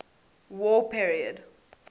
war period